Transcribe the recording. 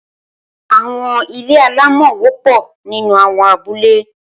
Awọn ilé àlámọ̀ wọ̀pọ̀ ninú awọn àbúlé